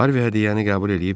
Harvi hədiyyəni qəbul eləyib dedi.